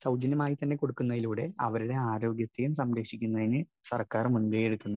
Speaker 1 സൗജന്യമായിതന്നെ കൊടുക്കുന്നതിലൂടെ അവരുടെ ആരോഗ്യത്തെയും സംരക്ഷിക്കുന്നതിന് സർക്കാർ മുൻകൈ എടുക്കുന്നു.